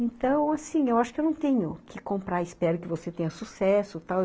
Então, assim, eu acho que eu não tenho que comprar, espero que você tenha sucesso, tal.